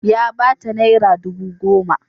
Ya ba ta naira dubu goma.